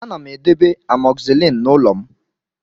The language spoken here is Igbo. Ana m edebe amoxicillin n'ụlọ m